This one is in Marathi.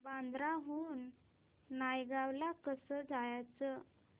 बांद्रा हून नायगाव ला कसं जायचं